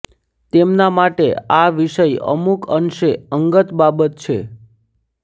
તેમના માટે આ વિષય અમુક અંશે અંગત બાબત છે